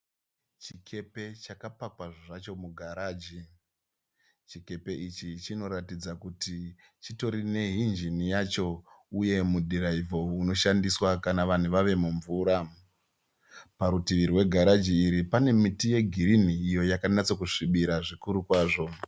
Chikepe chakapakwa zvacho kugaragi. Chikepe ichi chinoratidza kuti chitori nehinjini yacho uye mudhiraivho unoshandiswa kana vanhu vave mumvura. Parutivi pegaraji iri pane miti yegirini iyo yakanatso kusvibira zvikuru kwazvo.